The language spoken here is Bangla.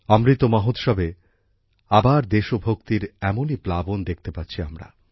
অমৃত মহোৎসবে আবার দেশভক্তির এমনই প্লাবন দেখতে পাচ্ছি আমরা